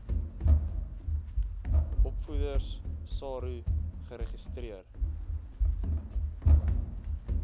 opvoeders saro geregistreer